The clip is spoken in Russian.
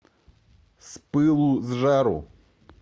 с пылу с жару